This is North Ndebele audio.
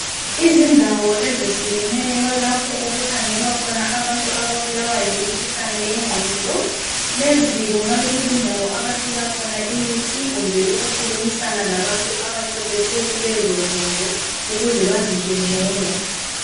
Izindawo ezehlukeneyo lapho okukhangelwa khona abantu ababulawa yimikhuhlane yengqondo. Lezi kungabe kuzindawo abathola khona imithi kumbe ukukhulumisana labantu abaqeqetshe kulezo zinto ukuze bazizwe ngcono.